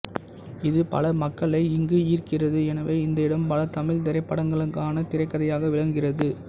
இது பல மக்களை இங்கு ஈர்க்கிறது எனவே இந்த இடம் பல தமிழ் திரைப்படங்களுக்கான திரைக்கதையாக விளங்குகிறது